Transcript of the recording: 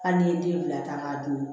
Hali n'i ye den bila ka dun